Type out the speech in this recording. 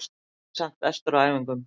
Ég var samt bestur á æfingum.